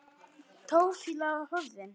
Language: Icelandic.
Táfýlan horfin.